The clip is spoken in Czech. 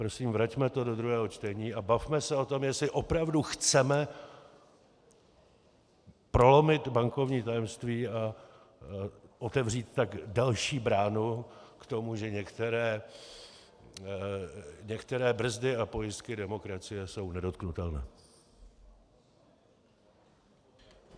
Prosím, vraťme to do druhého čtení a bavme se o tom, jestli opravdu chceme prolomit bankovní tajemství, a otevřít tak další bránu k tomu, že některé brzdy a pojistky demokracie jsou nedotknutelné.